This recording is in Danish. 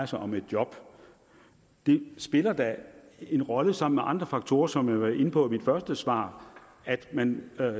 sig om et job det spiller da en rolle sammen med andre faktorer som jeg var inde på i mit første svar at man